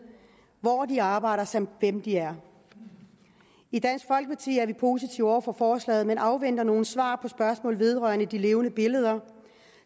hvor de arbejder samt hvem de er i dansk folkeparti er vi positive over for forslaget men afventer nogle svar på spørgsmål vedrørende de levende billeder